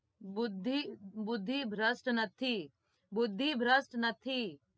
બુધિ ભ્રષ્ટ નથી